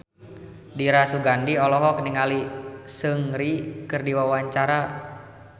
Dira Sugandi olohok ningali Seungri keur diwawancara